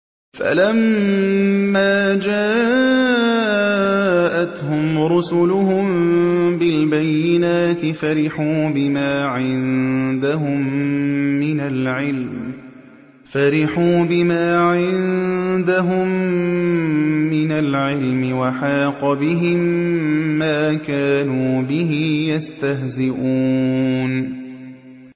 فَلَمَّا جَاءَتْهُمْ رُسُلُهُم بِالْبَيِّنَاتِ فَرِحُوا بِمَا عِندَهُم مِّنَ الْعِلْمِ وَحَاقَ بِهِم مَّا كَانُوا بِهِ يَسْتَهْزِئُونَ